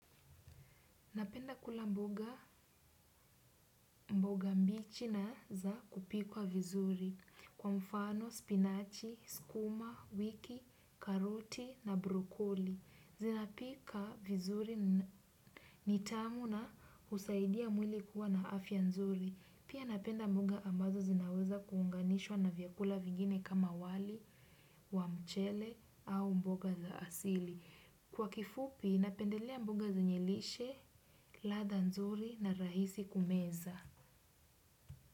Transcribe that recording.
Napenda kula mboga mboga mboga mbichi na za kupikwa vizuri kwa mfano, spinachi, skuma wiki, karoti na brokoli. Zinapika vizuri ni tamu na husaidia mwili kuwa na afya nzuri. Pia napenda mboga ambazo zinaweza kuunganishwa na vyakula vingine kama wali, wa mchele au mboga za asili. Kwa kifupi, napendelea mboga zenye lishe, ladha nzuri na rahisi kumeza.